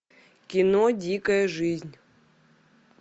кино дикая жизнь